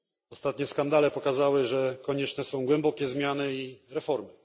Ostatnie skandale pokazały, że konieczne są głębokie zmiany i reformy.